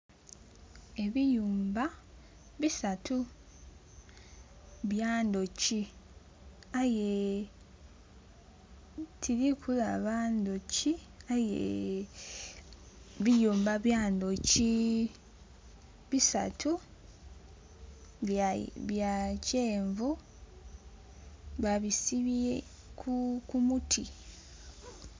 Ebiyumba bisatu byandhoki tirikubonha ndhoki, aye ebiyumba byandhoki bisatu bya kyenvu babisibye ku muti.